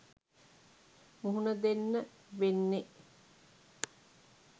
මුහුණ දෙන්න වෙන්නෙ